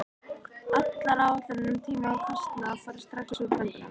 Allar áætlanir um tíma og kostnað fóru strax úr böndum.